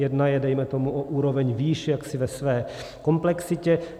Jedna je dejme tomu o úroveň výše jaksi ve své komplexitě.